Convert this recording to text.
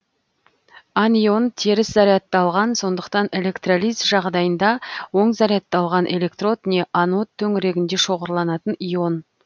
анион теріс зарядталған сондықтан электролиз жағдайында оң зарядталған электрод не анод төңірегінде шоғырланатын ион